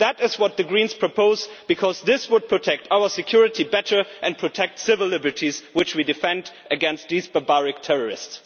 That is what the Greens propose because this would protect our security better and protect civil liberties, which we defend against these barbaric terrorists.